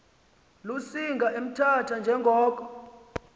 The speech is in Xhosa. lusinga emthatha njengoko